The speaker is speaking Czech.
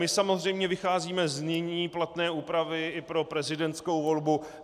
My samozřejmě vycházíme z nyní platné úpravy i pro prezidentskou volbu.